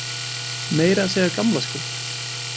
Meira að segja á gamlárskvöld.